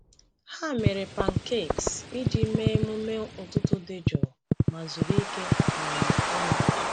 Ha mere pancakes iji mee emume ụtụtụ dị jụụ ma zuru ike um ọnụ.